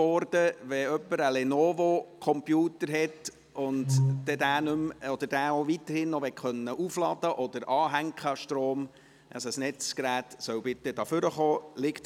Wenn jemand einen Lenovo-Computer hat und diesen auch weiterhin aufladen oder an den Strom anschliessen möchte, soll er bitte nach vorne kommen.